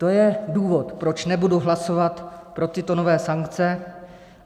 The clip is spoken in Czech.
To je důvod, proč nebudu hlasovat pro tyto nové sankce.